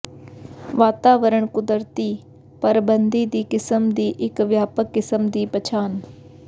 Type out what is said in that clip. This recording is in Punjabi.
ਵਾਤਾਵਰਣ ਕੁਦਰਤੀ ਪਰਬੰਿ ਦੀ ਕਿਸਮ ਦੀ ਇੱਕ ਵਿਆਪਕ ਕਿਸਮ ਦੀ ਪਛਾਣ